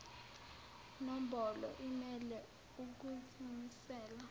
nombolo imele ukuzimisela